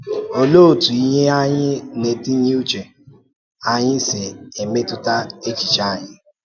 Òlee otú ihe anyị na-etinye n’uche anyị si emetụta echiche anyị?